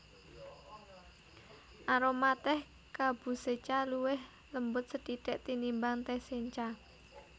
Aroma tèh kabusecha luwih lembut sethithik tinimbang tèh sencha